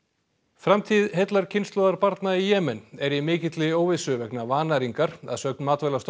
framtíð heillar kynslóðar barna í Jemen er í mikilli óvissu vegna vannæringar að sögn